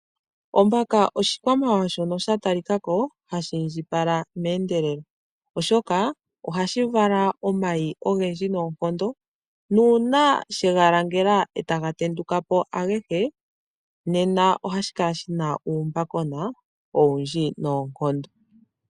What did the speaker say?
Ombaka oshikwamawawa shono sha tali ka ko hashi indjipala meendelelo oshoka ohashi vala omayi ogendji noonkondo, nuuna she ga langela e taga tenduka po agehe nena ohashi kala shina uumbakona owundji noonkondo.